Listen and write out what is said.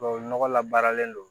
Tubabu nɔgɔ labaaralen don